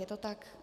Je to tak?